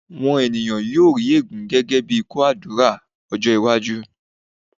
̀wọn ènìyàn yóò rí ègún gẹ́gẹ́ bí kóó àdúrà ní ọjọ́-iwájú.